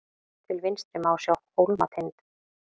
til vinstri má sjá hólmatind